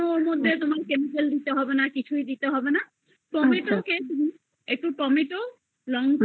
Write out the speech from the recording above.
পারবা হ্যা কোনো ওর মধ্যে chemical দিতে হবে না tomato কে তুমি লঙ্কা